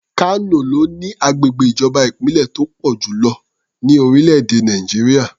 Kano ló ní agbègbè ìjọba ìbílẹ̀ tó pọ̀ jù lọ ní orílẹ̀-èdè Nàìjíríà.